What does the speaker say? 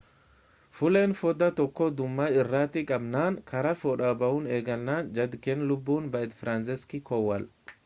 fulleen foddaa tokko dhuma irratti cabnaan karaa foddaa ba'uu eegalan jedhe kan lubbuun ba'e firansiiszeek koowal